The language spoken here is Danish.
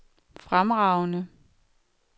fremragende